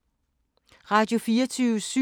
Radio24syv